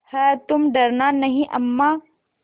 हैतुम डरना नहीं अम्मा